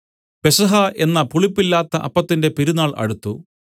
പെസഹ എന്ന പുളിപ്പില്ലാത്ത അപ്പത്തിന്റെ പെരുന്നാൾ അടുത്തു